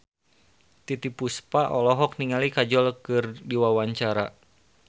Titiek Puspa olohok ningali Kajol keur diwawancara